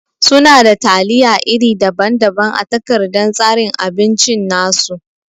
Suna da taliya iri daban-daban a takardan tsarin abinci nasu.